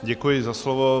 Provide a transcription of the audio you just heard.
Děkuji za slovo.